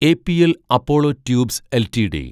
APL Apollo tubes LTD